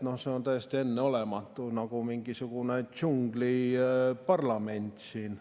No see on täiesti enneolematu, nagu mingisugune džungliparlament siin.